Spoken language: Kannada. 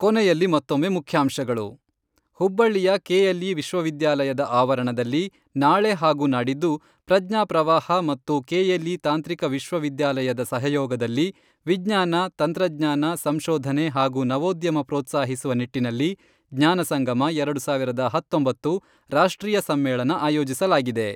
ಕೊನೆಯಲ್ಲಿ ಮತ್ತೊಮ್ಮೆ ಮುಖ್ಯಾಂಶಗಳು, ಹುಬ್ಬಳ್ಳಿಯ ಕೆಎಲ್ಇ ವಿಶ್ವವಿದ್ಯಾಲಯದ ಆವರಣದಲ್ಲಿ ನಾಳೆ ಹಾಗೂ ನಾಡಿದ್ದು ಪ್ರಜ್ಞಾ ಪ್ರವಾಹ ಮತ್ತು ಕೆಎಲ್ಇ ತಾಂತ್ರಿಕ ವಿಶ್ವವಿದ್ಯಾಲಯದ ಸಹಯೋಗದಲ್ಲಿ, ವಿಜ್ಞಾನ, ತಂತ್ರಜ್ಞಾನ, ಸಂಶೋಧನೆ ಹಾಗೂ ನವೋದ್ಯಮ ಪ್ರೋತ್ಸಾಹಿಸುವ ನಿಟ್ಟಿನಲ್ಲಿ ಜ್ಞಾನ ಸಂಗಮ, ಎರಡು ಸಾವಿರದ ಹತ್ತೊಂಬತ್ತು, ರಾಷ್ಟ್ರೀಯ ಸಮ್ಮೇಳನ ಆಯೋಜಿಸಲಾಗಿದೆ.